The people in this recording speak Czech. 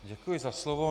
Děkuji za slovo.